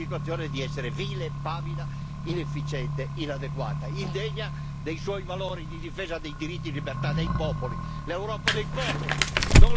Cara Europa, dimostri in questa situazione di essere vile, pavida, inefficiente, inadeguata, indegna dei tuoi valori di difesa dei diritti e libertà dei popoli.